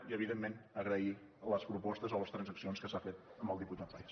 i evidentment agrair les propostes o les transaccions que s’han fet al diputat parés